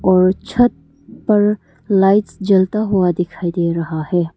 और छत पर लाइट्स जलता हुआ दिखाई दे रहा है।